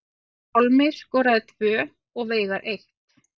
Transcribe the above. Pálmi skoraði tvö og Veigar eitt